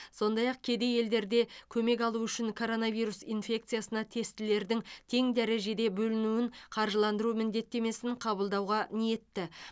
сондай ақ кедей елдер де көмек алуы үшін коронавирус инфекциясына тестілердің тең дәрежеде бөлінуін қаржыландыру міндеттемесін қабылдауға ниетті